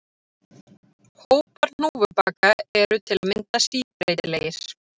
Hópar hnúfubaka eru til að mynda síbreytilegir.